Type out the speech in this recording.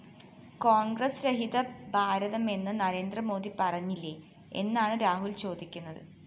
കോണ്‍ഗ്രസ് രഹിത ഭാരതമെന്ന് നരേന്ദ്രമോദി പറഞ്ഞില്ലേ എന്നാണ് രാഹുല്‍ ചോദിക്കുന്നത്